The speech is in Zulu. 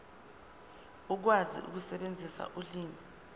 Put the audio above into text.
ukwazi ukusebenzisa ulimi